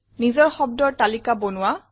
নিজৰ শব্দৰ তালিকা বনোৱা